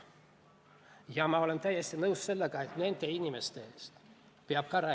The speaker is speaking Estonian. Ja ma olen täiesti nõus sellega, et nende inimeste eest peab ka seisma.